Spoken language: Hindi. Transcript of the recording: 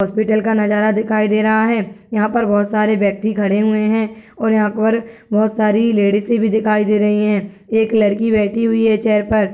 हॉस्पिटल का नजारा दिखाई दे रहा है | यहाँ पर बोहोत सारे व्यक्ति खड़े हुए हैं और यहाँ पर बोहोत सारी लेडिसे भी दिखाई दे रहीं हैं एक लड़की बैठी हुई है चेयर पर।